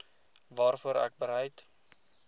waarvoor ek bereid